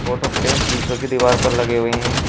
Photo frame शीशों की दीवार पर लगे हुए हैं।